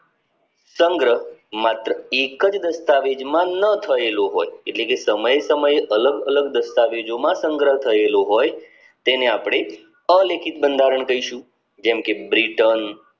સંગ્રહ માત્ર એક જ દસ્તાવેજ માં ન થયેલો હોય એટલે કે સમય સમયે અલગ અલગ દસ્તાવેજ માં સંગ્રહ થયેલો હોય તેને અપડે અલેખિત બંધારણ કહીશું જેમ કે બ્રિટન